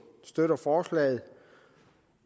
støtter forslaget